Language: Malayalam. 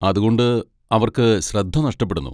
അതുകൊണ്ട് അവർക്ക് ശ്രദ്ധ നഷ്ടപ്പെടുന്നു.